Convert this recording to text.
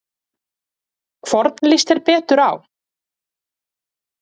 Hvorn líst þér betur á?